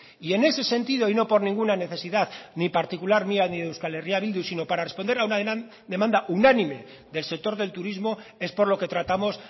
y en ese sentido y no por ninguna necesidad ni particular mía ni de euskal herria bildu sino para responder a una demanda unánime del sector del turismo es por lo que tratamos